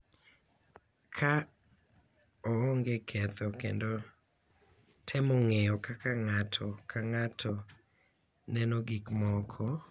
Ka onge ketho kendo temo ng’eyo kaka ng’ato ka ng’ato neno gik moko,